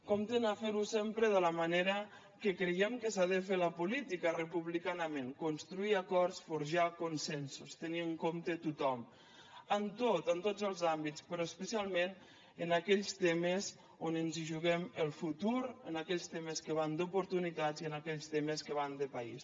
comptin a fer ho sempre de la manera que creiem que s’ha de fer la política republicanament construir acords forjar consensos tenir en compte a tothom en tot en tots els àmbits però especialment en aquells temes on ens hi juguem el futur en aquells temes que van d’oportunitats i en aquells temes que van de país